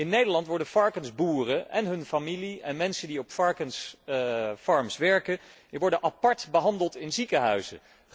In Nederland worden varkensboeren en hun familie en mensen die op varkenshouderijen werken, apart behandeld in ziekenhuizen.